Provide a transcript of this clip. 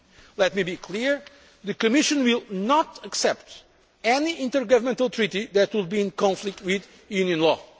model. Let me be clear the Commission will not accept any intergovernmental treaty that would be in conflict with